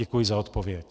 Děkuji za odpověď.